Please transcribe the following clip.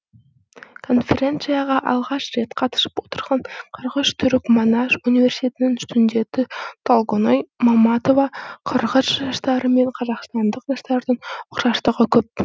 конференцияға алғаш рет қатысып отырған қырғыз түрік манас университетінің студенті толгоной маматова қырғыз жастары мен қазақстандық жастардың ұқсастығы көп